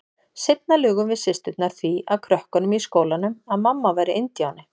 Seinna lugum við systurnar því að krökkunum í skólanum að mamma væri indíáni.